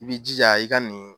I b'i jija i ka nin